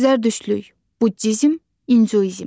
Zərdüştlük, Buddizm, İnduizm.